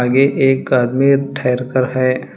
आगे एक आदमी ठहर कर है।